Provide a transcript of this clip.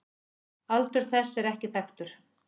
Aldur þess er ekki þekktur.